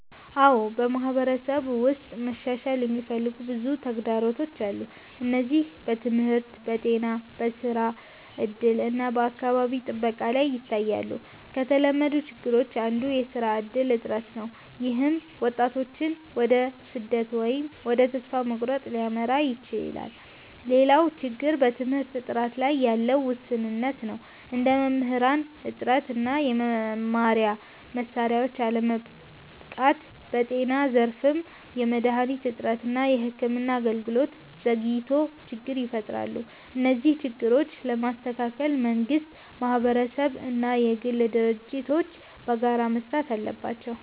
አዎ፣ በማህበረሰብ ውስጥ መሻሻል የሚፈልጉ ብዙ ተግዳሮቶች አሉ። እነዚህ በትምህርት፣ በጤና፣ በስራ እድል እና በአካባቢ ጥበቃ ላይ ይታያሉ። ከተለመዱት ችግሮች አንዱ የስራ እድል እጥረት ነው፣ ይህም ወጣቶችን ወደ ስደት ወይም ወደ ተስፋ መቁረጥ ሊያመራ ይችላል። ሌላው ችግር በትምህርት ጥራት ላይ ያለ ውስንነት ነው፣ እንደ መምህራን እጥረት እና የመማሪያ መሳሪያዎች አለመበቃት። በጤና ዘርፍም የመድሃኒት እጥረት እና የሕክምና አገልግሎት ዘግይቶች ችግር ይፈጥራሉ። እነዚህን ችግሮች ለመስተካከል መንግስት፣ ማህበረሰብ እና የግል ድርጅቶች በጋራ መስራት አለባቸው።